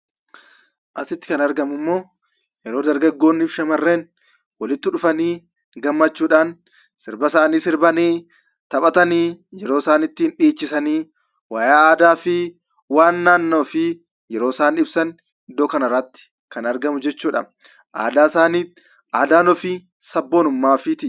Asitti kan argamummoo, yeroo dargaggoof shamarran walitti dhufanii, sirba isaanii sirbanii, taphatanii yeroo isaan itti dhiichisanii, wayyaa aadaa fi waan naannoo ofii yeroo isaan ibsan iddoo kanarratti kan argamu jechuudha. Aadaa isaaniif aadaan ofii sabboonumaa ofiitii.